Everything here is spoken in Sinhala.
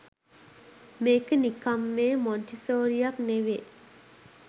මේක නිකන් මේ මොන්ටිසෝරියක් නෙවේ